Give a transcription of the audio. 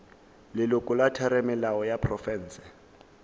leloko la theramelao ya profense